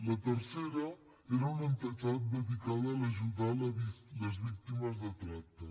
la tercera era una entitat dedicada a ajudar les víctimes de tracte